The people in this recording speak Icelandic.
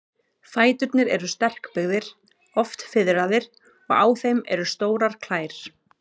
Fæturnir eru sterkbyggðir, oft fiðraðir, og á þeim eru stórar klær.